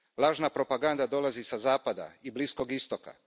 Lažna propaganda dolazi i sa zapada i Bliskog Istoka.